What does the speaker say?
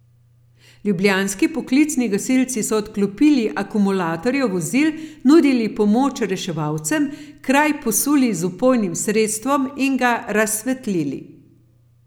Ljubljanski poklicni gasilci so odklopili akumulatorja vozil, nudili pomoč reševalcem, kraj posuli z vpojnim sredstvom in ga razsvetlili.